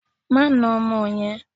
Má na ọmọ yẹn!